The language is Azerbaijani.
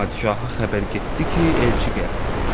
Padişaha xəbər getdi ki, elçi gəlib.